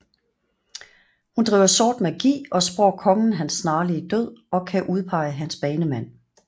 Hun driver sort magi og spår kongen hans snarlige død og kan udpege hans banemand